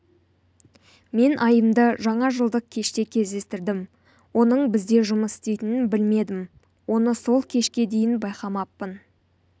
мен айымды жаңа жылдық кеште кездестірдім оның бізде жұмыс істейтінін білмедім оны сол кешке дейін байқамаппын